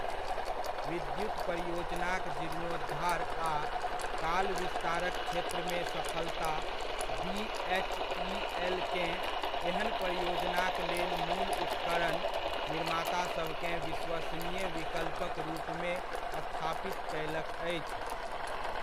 विद्युत परियोजनाक जीर्णोद्धार आ काल विस्तारक क्षेत्रमे सफलता बीएचइएल केँ एहन परियोजनाक लेल मूल उपकरण निर्मातासभकेँ विश्वसनीय विकल्पक रूपमे स्थापित कयलक अछि।